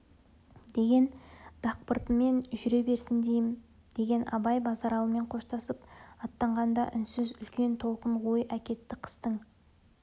деген дақпыртымен жүре берсін дейім деген абай базаралымен қоштасып аттанғанда үнсіз үлкен толқын ой әкетті қыстың